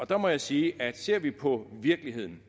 der må jeg sige at ser vi på virkeligheden